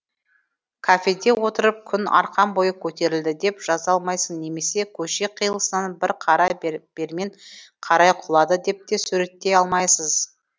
кафеде отырып күн арқан бойы көтерілді деп жаза алмайсыз немесе көше қиылысынан бір қара бермен қарай құлады деп те суреттей алмайсыз